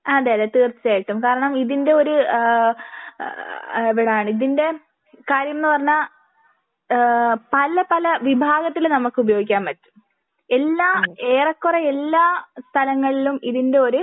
അതെ അതെ തീർച്ചയായിട്ടും കാരണം ഇതിന്റെ ഒരു ആഹ് ആഹ് ഇതിന്റെ കാര്യം ന്ന് പറഞ്ഞാൽ ഏഹ് പല പല വിഭാഗത്തിൽ നമുക്ക് ഉപയോഗിക്കാൻ പറ്റും. എല്ലാ ഏറെ കുറേ എല്ലാ സ്ഥലങ്ങളിലും ഇതിന്റെ ഒരു